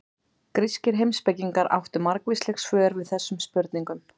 Grískir heimspekingar áttu margvísleg svör við þessum spurningum.